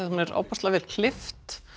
hún er ofboðslega vel klippt